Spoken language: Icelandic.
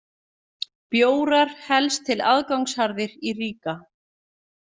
Bjórar helst til aðgangsharðir í Riga